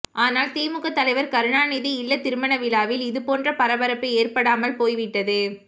ஆனால் திமுக தலைவர் கருணாநிதி இல்லத் திருமண விழாவில் இதுபோன்ற பரபரப்பு ஏற்படாமல் போய் விட்டது